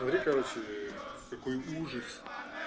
смотри короче какой ужас